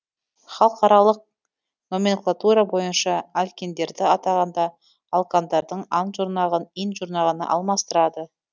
халықаралық номенклатура бойынша алкиндерді атағанда алкандардың ан жұрнағын ин жұрнағына алмастырады